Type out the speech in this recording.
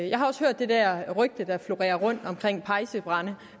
jeg har også hørt det der rygte der florerer om pejsebrænde